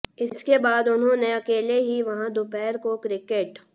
इसके बाद उन्होंने अकेले ही वहां दोपहर को क्रिकेट